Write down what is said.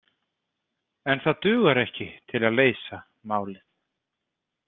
En það dugar ekki til að leysa málið.